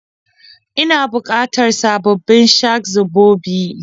Ina bukatar sababbin shak-zobobi?